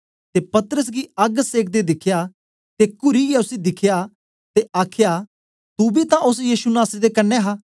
ते पतरस गी अग्ग सेकदे दिखया ते कुरियै उसी दिखियै आखया तू बी तां ओस यीशु नासरी दे कन्ने हा